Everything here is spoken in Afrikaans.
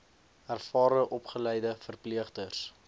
ervare opgeleide verpleegsters